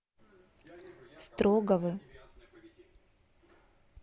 строгого